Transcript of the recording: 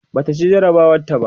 Bata ci jarabawar ta ba